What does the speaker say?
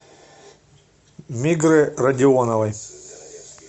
мигры радионовой